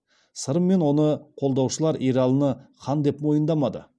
сырым мен оны қолдаушылар ералыны хан деп мойындамады